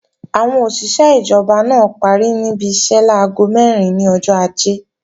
Àwọn òṣìṣé ìjọba náà parí níbi iṣẹ́ láago mẹ́rin ní ọjọ́ Ajé